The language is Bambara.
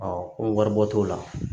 ko waribɔ t'o la